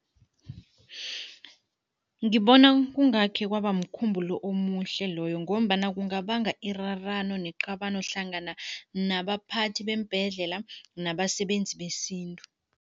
Ngibona kungakhe kwaba mkhumbulo omuhle loyo ngombana kungabanga irarano neqabano hlangana nabaphathi beembhedlela nabasebenzi besintu.